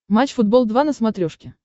матч футбол два на смотрешке